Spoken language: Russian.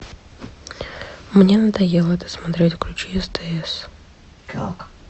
мне надоело это смотреть включи стс